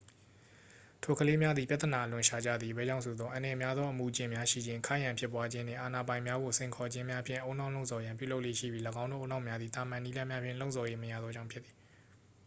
"ထိုကလေးများသည် ပြဿနာအလွန်ရှာကြသည် အဘယ်ကြောင့်ဆိုသော် "အန္တရာယ်များသော အမူအကျင့်များရှိခြင်း၊ ခိုက်ရန်ဖြစ်ပွားခြင်းနှင့် အာဏာပိုင်များကို စိန်ခေါ်ခြင်းများ""ဖြင့် ဦးနှောက်လှုံ့ဆော်ရန်ပြုလုပ်လေ့ရှိပြီး ၎င်းတို့ဦးနှောက်များသည် သာမန် နည်းလမ်းများဖြင့် လှုံ့ဆော်၍မရသောကြောင့်ဖြစ်သည်။